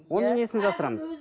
оның несін жасырамыз